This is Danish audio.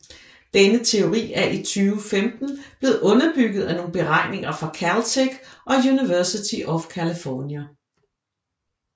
Denne teori er i 2015 blevet underbygget af nogle beregninger fra Caltech og University of California